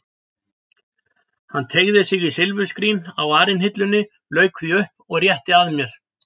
Hann teygði sig í silfurskrín á arinhillunni, lauk því upp og rétti að mér.